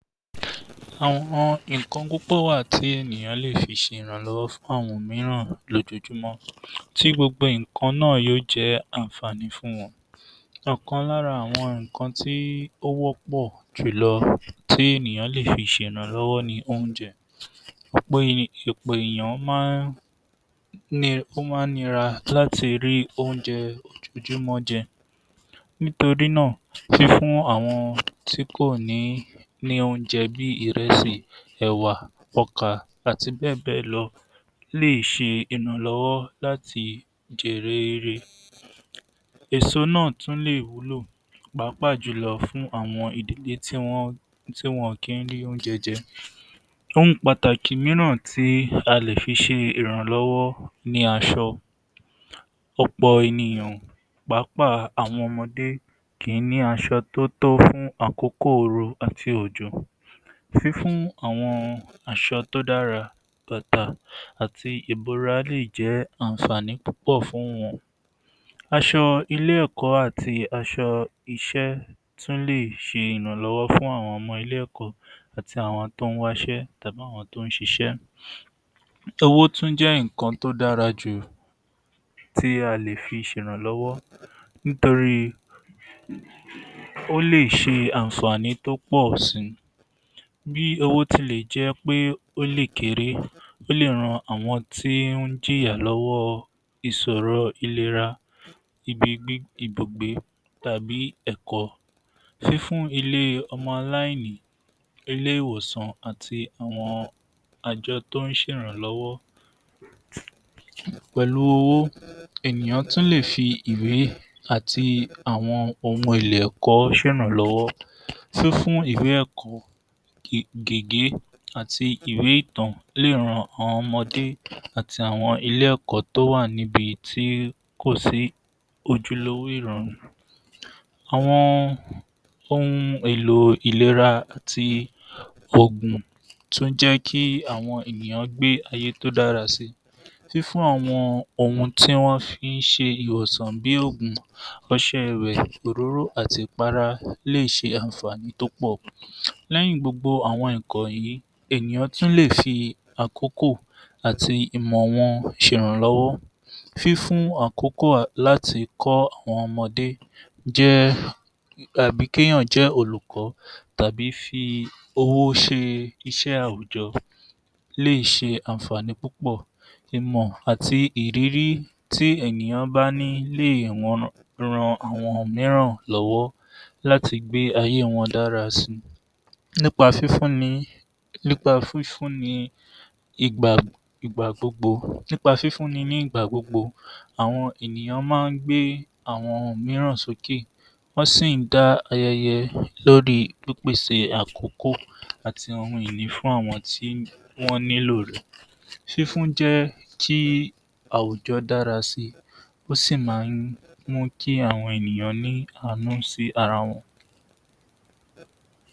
Àwọn nǹkan púpọ̀ wà tí ènìyàn lè fi ṣe ìrànlọ́wọ́ fún àwọn mìíràn lójoojúmọ́ tí gbogbo nǹkan náà yóò jẹ́ àǹfàní fún wọn. ọ̀kan lára àwọn nǹkan tí ó wọ́pọ̀ jùlọ tí ènìyàn lè fi ṣe ìrànlọ́wọ́ ni oúnjẹ. um ọ̀pọ̀ ènìyàn máa ń ni ó máa ń nira láti rí oúnjẹ ojoojúmọ́ jẹ. Niítorí náà, fífún àwọn tí kò ní ní oúnjẹ bí i ìrẹsì, ẹ̀wà, ọkà, àti bẹ́ẹ̀ bẹ́ẹ̀ lọ lè ṣe ìrànlọ́wọ́ láti jèrè ore. Èso náà tún lè wúlò pàápàá jùlọ fún àwọn ìdílé tí wọ́n tí wọn kì í rí oúnjẹ jẹ. Ohun pàtàkì mìíràn tí a lè fi ṣe ìrànlọ́wọ́ ni aṣọ. Ọ̀pọ̀ ènìyàn pàápàá àwọn ọmọdé kì í ní aṣọ tó tọ́ fún àkókò oru àti òjò. Fífún àwọn aṣọ tó dára dáadáa àti ìbora lè jẹ́ àǹfàní púpọ̀ fún wọn. Aṣọ ilé-ẹ̀kọ́ àti aṣọ iṣẹ́ tún lè ṣe ìrànlọ́wọ́ fún àwọn ọmọ ilé-ẹ̀kọ́ àti àwọn tó ń wáṣẹ́ tàbí àwọn tó ń ṣiṣẹ́. Owó tún jẹ́ nǹkan tó dára jù tí a lè fi ṣe ìrànlọ́wọ́ nítorí ó lè ṣe àǹfàní tó pọ̀ si. Bí owó tilẹ̀ jẹ́ pé ó lè kéré ó lè ran àwọn tí ó ń jìyà lọ́wọ́ ìsọ̀rọ ìlera um ìbugbé tàbí ẹ̀kọ́. Fífún àwọn aláìní, ilé-ìwòsàn àti àwọn àjọ tó ń ṣe ìrànlọ́wọ́. Pẹ̀lú owó ènìyàn tún lè fi ìwé àti àwọn ohun èlò ẹ̀kọ́ ṣe ìrànlọ́wọ́ fífún ẹ̀kọ́, gègé àti ìwé ìtàn lè ran àwọn ọmọdé àti àwọn ilé-ẹ̀kọ́ tó wà ní ibi tí kò sí ojúlówó ìrọ̀rùn. Àwọn ohun èlò ìlera ti òògùn tún jẹ́ kí àwọn ènìyàn gbé ayé tó dára si. Fífún àwọn ohun tí wọ́n fi ń ṣe ìwòsàn bí òògùn, ọṣẹ ì̀wẹ̀, òróró lè ṣe àǹfàní tó pọ̀. Lẹ́yìn gbogbo àwọn nǹkan wọ̀nyí ènìyàn tún lè fi àkókò àti ìmọ̀ wọn ṣe ìrànlọ́wọ́. Fífún àkókò láti kọ́ àwọn ọmọdé jẹ́ àbí kí èèyàn jẹ́ olùkọ́ tàbí f’owó ṣe iṣẹ́ àwùjọ lè ṣe àǹfàní púpọ̀. Ìmọ̀ àti ìrírí tí ènìyàn bá ní lè ran àwọn mìíràn lọ́wọ́ láti gbé ayé wọn dára si nípa fífún ni nípa fífún ni ìgbà ìgbà gbogbo, nípa fífún ní ìgbà gbogbo àwọn ènìyàn máa ń gbé àwọn mìíràn sókè wọ́n sì ń dá lórí ìpèsè àkókò àti ohun ìní fún àwọn tí wọ́n nílò rẹ̀. Fífún jẹ́ kí àwùjọ́ dára si ó sì máa ń mú kí àwọn ènìyàn ní àànú sí ara wọn